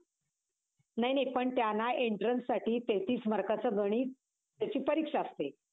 छत्रपती शिवाजी महाराज, हे छत्रपती शहाजी राजे भोसले आणि राजमाता जिजाबाई यांचे पुत्र होते. त्यांची जन्मस्थळी पुण्याच्या नजीक शिवनेरी गड हाये.